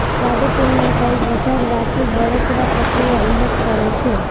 સ્વાદુપિંડના size વધારવાથી બળતરા પ્રક્રિયા ઉલ્લેખ કરે છે